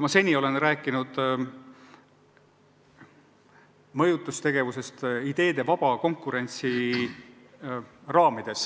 Ma olen seni rääkinud mõjutustegevusest ideede vaba konkurentsi raamides,